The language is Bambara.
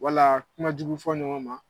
Walaa kumajugu fɔ ɲɔgɔn ma